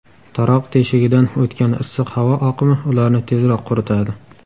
Taroq teshigidan o‘tgan issiq havo oqimi ularni tezroq quritadi.